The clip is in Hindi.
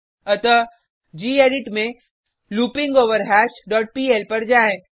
अतः गेडिट में लूपिंगवरहश डॉट पीएल पर जाएँ